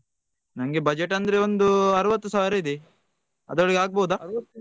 ನಂಗೆ budget ಅಂದ್ರೆ ಒಂದ್ ಆರವತ್ತು ಸಾವಿರ ಇದೆ ಅದ್ರೊಳಗೆ ಆಗ್ಬಹುದಾ.